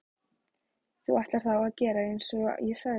Þú ætlar þá að gera einsog ég sagði?